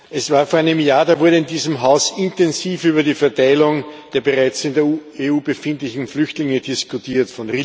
Es war vor einem Jahr, da wurde in diesem Haus intensiv über die Verteilung der bereits in der EU befindlichen Flüchtlinge diskutiert.